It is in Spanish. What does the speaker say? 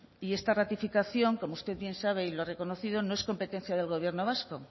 y esta ratificación como usted bien sabe y lo ha reconocido no es competencia del gobierno vasco